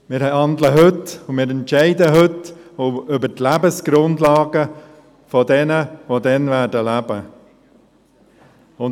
Wir handeln heute und entscheiden heute über die Lebensgrundlagen von jenen, die morgen leben werden.